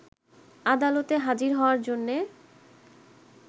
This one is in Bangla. আদালতে হাজির হওয়ার জন্যে